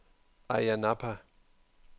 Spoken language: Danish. Ayia Napa